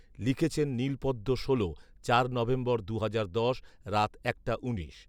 লিখেছেন নীলপদ্ম ষোল, চার নভেম্বর, দুহাজার দশ। রাত একটা উনিশ